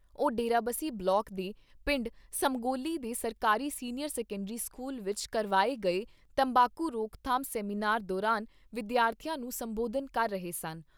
ਉਹ ਡੇਰਾਬੱਸੀ ਬਲਾਕ ਦੇ ਪਿੰਡ ਸਮਗੌਲੀ ਦੇ ਸਰਕਾਰੀ ਸੀਨੀਅਰ ਸੈਕੰਡਰੀ ਸਕੂਲ ਵਿਚ ਕਰਵਾਏ ਗਏ ਤੰਬਾਕੂ ਰੋਕਥਾਮ ਸੈਮੀਨਾਰ ਦੌਰਾਨ ਵਿਦਿਆਰਥੀਆਂ ਨੂੰ ਸੰਬੋਧਨ ਕਰ ਰਹੇ ਸਨ।